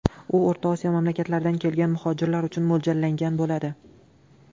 U O‘rta Osiyo mamlakatlaridan kelgan muhojirlar uchun mo‘ljallangan bo‘ladi.